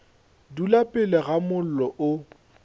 dula pele ga mollo o